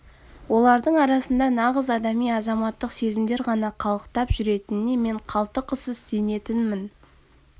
олардың арасында нағыз адами азаматтық сезімдер ғана қалықтап жүретініне мен қалтықысыз сенетінмін